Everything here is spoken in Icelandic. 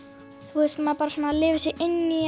þú veist maður bara svona lifir sig inn í